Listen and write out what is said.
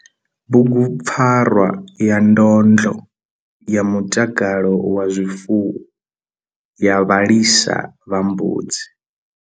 Bugupfarwa ya ndlondlo ya mutakalo wa zwifuwo ya vhalisa vha mbudzi.